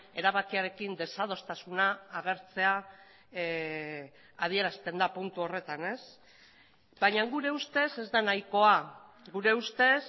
erabakiarekin desadostasuna agertzea adierazten da puntu horretan baina gure ustez ez da nahikoa gure ustez